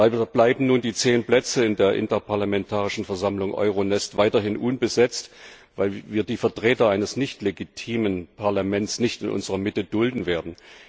Leider bleiben nun die zehn Plätze in der Interparlamentarischen Versammlung EuroNest weiterhin unbesetzt, weil wir die Vertreter eines nichtlegitimen Parlaments nicht in unserer Mitte dulden werden.